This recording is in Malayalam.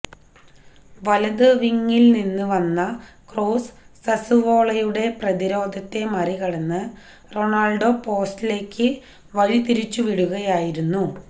വലത് വിങ്ങില് നിന്ന് വന്ന ക്രോസ് സസുവോളയുടെ പ്രതിരോധത്തെ മറികടന്ന് റൊണാള്ഡോ പോസ്റ്റിലേക്ക് വഴിതിരിച്ചു വിടുകയായിരുന്നു